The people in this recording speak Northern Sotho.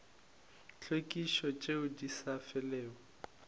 tlhwekišo tšeo di sa felego